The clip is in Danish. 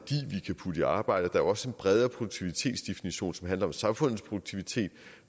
kan putte i arbejdet der er også en bredere produktivitetsdefinition som handler om samfundets produktivitet